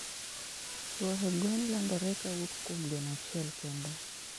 tuohe gwen landore kowuok kuom gweno achiel kende